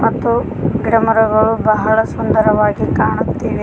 ಮತ್ತು ಗಿಡ ಮರಗಳು ಬಹಳ ಸುಂದರವಾಗಿ ಕಾಣುತ್ತಿವೆ.